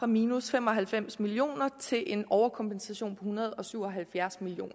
minus fem og halvfems million kroner til en overkompensation på hundrede og syv og halvfjerds million